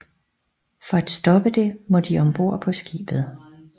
For at stoppe det må de om bord på skibet